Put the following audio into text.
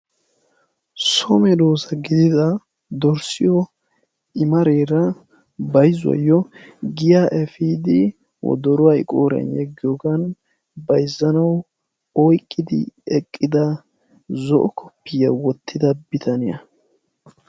So medoossa gidida dorssiyo i mareera bayzuwayyo giya efiidi wodoruwa qooriyan yeggiyogan bayzzanawu oyqqidi eqqida zo"o koppiyyiya wottida bitaniya.